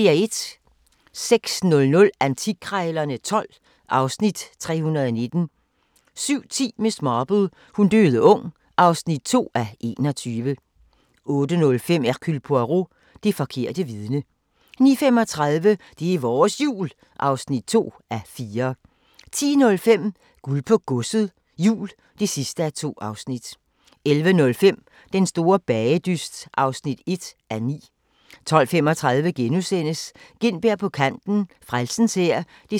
06:00: Antikkrejlerne XII (Afs. 319) 07:10: Miss Marple: Hun døde ung (2:21) 08:05: Hercule Poirot: Det forkerte vidne 09:35: Det er vores Jul (2:4) 10:05: Guld på Godset, Jul (2:2) 11:05: Den store bagedyst (1:9) 12:35: Gintberg på kanten – Frelsens Hær (7:7)*